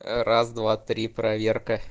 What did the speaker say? раз два три проверка